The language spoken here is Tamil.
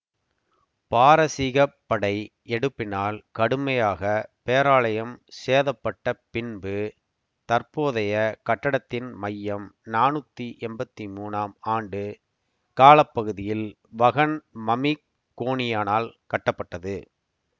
பாரசீகப் படை எடுப்பினால் கடுமையாக பேராலயம் சேதப்பட்ட பின்பு தற்போதைய கட்டடத்தின் மையம் நானூத்தி எம்பத்தி மூனாம் ஆண்டு கால பகுதியில் வகன் மமிகோனியனால் கட்டப்பட்டது